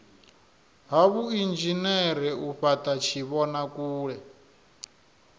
ha vhuinzhinere u fhata tshivhonakule